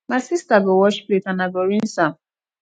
my sister go wash plate and i go rinse am